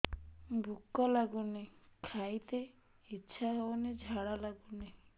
ଭୁକ ଲାଗୁନି ଖାଇତେ ଇଛା ହଉନି ଝାଡ଼ା ଲାଗୁନି